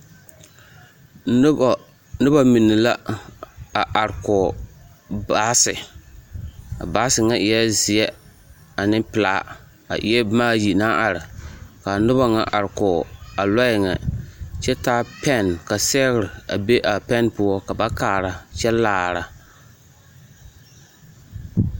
Noba noba mine la a are kɔge baase a baase ŋa eɛɛ zeɛ ane pelaa a eɛɛ boma ayi naŋ are ka a noba ŋa are kɔge a lɔɛ ŋa kyɛ taa pɛn ka sɛgre be a pɛn poɔ ka ba kaara kyɛ laara.